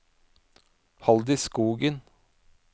Halldis Skogen